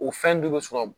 O fɛn dun bɛ sɔrɔ